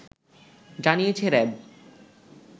জানিয়েছে র‌্যাব